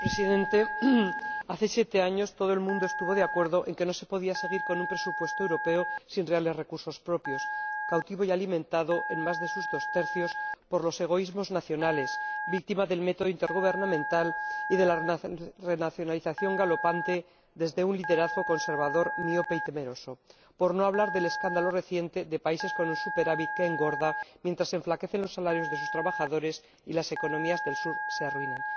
Señor Presidente, hace siete años, todo el mundo estuvo de acuerdo en que no se podía seguir con un presupuesto europeo sin reales recursos propios, cautivo y alimentado, en más de sus dos tercios, por los egoísmos nacionales, víctima del método intergubernamental y de la renacionalización galopante, desde un liderazgo conservador, miope y temeroso ―por no hablar del escándalo reciente de países con un superávit que engorda, mientras se enflaquecen los salarios de sus trabajadores y las economías del sur se arruinan―.